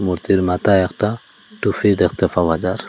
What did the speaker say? মূর্তির মাথায় একটা টুফি দেখতে পাওয়া যার।